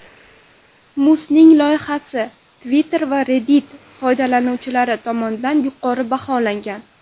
Musning loyihasi Twitter va Reddit foydalanuvchilari tomonidan yuqori baholangan.